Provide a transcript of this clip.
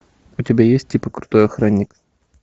у тебя есть типа крутой охранник